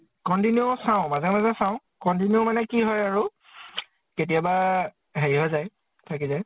continue চাও, মাজে মাজে চাও। continue মানে কি হয় আৰু কেতিয়াবা হেৰি হৈ যায়। থাকি যায়।